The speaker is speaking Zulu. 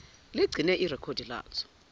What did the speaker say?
ligcine ilekhodi lazo